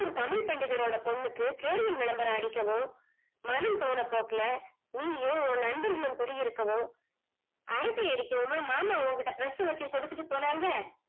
தமிழ் பண்டிதர் ஓட பொண்ணுக்கு கேரியல் விளம்பரம் அடிக்கவும் மனம் போனா போக்கில நீயும் உன் நண்பர்களும் குடியிருக்கவும் அரட்டை அடிக்கவுமா மாமா உன் கிட்ட press வச்சி குடுத்துட்டு போனாங்க